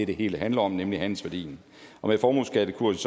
det hele handler om nemlig handelsværdien og med formueskattekursen